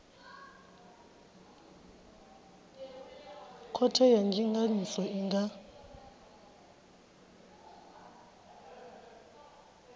khothe ya ndinganyiso i nga